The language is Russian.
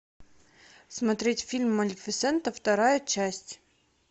смотреть фильм малефисента вторая часть